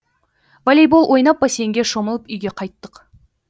волейбол ойнап бассейнге шомылып үйге қайттық